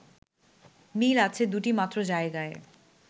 মিল আছে দুটি মাত্র জায়গায়